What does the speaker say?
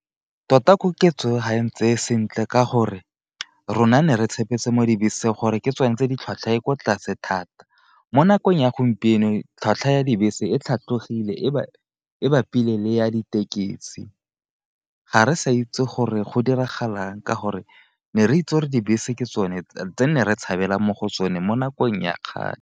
Tota koketso e o ga e ntseye sentle ka gore rona ne re tshepetse mo dibeseng gore ke tsone tse di tlhwatlhwa e kwa tlase thata, mo nakong ya gompieno tlhwatlhwa ya dibese e tlhatlhogile e bapile le ya ditekesi, ga re sa itse gore go diragala ka gore ne re itse gore dibese ke tsone tse nne re tshabela mo go tsone mo nakong ya kgale.